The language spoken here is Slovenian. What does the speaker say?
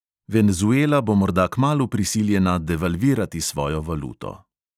Venezuela bo morda kmalu prisiljena devalvirati svojo valuto.